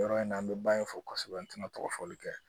Yɔrɔ in na an bɛ ba in fɔ kosɛbɛ an tɛna tɔgɔfɔli kɛ